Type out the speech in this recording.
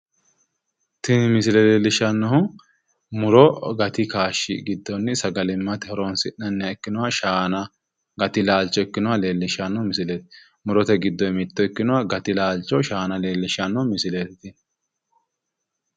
Tini misile leellishshannohu muro gati kaashshi giddonni sagalimmate horonsi'nanniha ikkinoha shaana gati laalcho ikkinoha leellishshanno misileeti. murote giddoyi mitto ikkinoha gati laalcho shaana leellishshanno misileeti tini.